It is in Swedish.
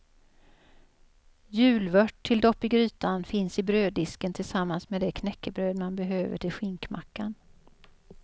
Julvört till dopp i grytan finns i bröddisken tillsammans med det knäckebröd man behöver till skinkmackan.